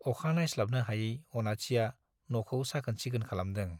अखा नायस्लाबनो हायै अनाथिया न'खौ साखोन सिखोन खालामदों।